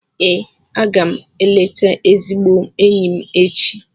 Ee, a ga m eleta ezigbo enyi m echi.